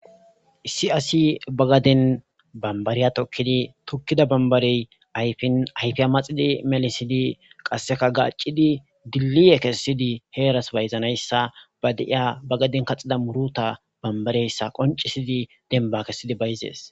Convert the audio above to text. Issi asi bagaden banbariya tokidi tokida banibariy ayifiya ayifin ayifiya maxi melisidi qaseka gacidi diliye kesidi heras bayizanayisa ba deiya bagaden kaxida muruta banbareyisa koncisidi denba kesidi bayizes.